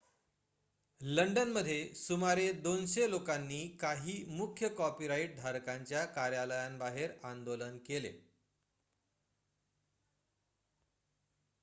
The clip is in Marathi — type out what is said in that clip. लंडनमध्ये सुमारे २०० लोकांनी काही मुख्य कॉपीराइट धारकांच्या कार्यालयांबाहेर आंदोलन केले